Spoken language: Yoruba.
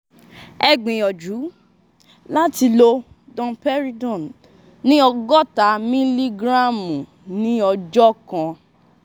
ẹ gbìyànjú láti lo domperidone ní ọ̀gọ́ta mílígíráàmù ní ọjọ́ kan